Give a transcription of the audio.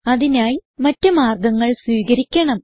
അതിനായി മറ്റ് മാർഗങ്ങൾ സ്വീകരിക്കണം